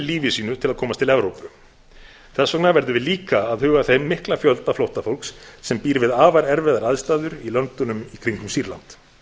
lífi sínu til að komast til evrópu þess vegna verðum við líka að huga að þeim mikla fjölda flóttafólks sem býr við afar erfiðar aðstæður í löndunum í kringum sýrland